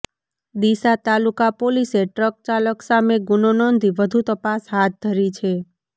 ડીસા તાલુકા પોલીસે ટ્રક ચાલક સામે ગુનો નોંધી વધુ તપાસ હાથ ધરી છે